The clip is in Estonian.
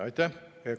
Aitäh!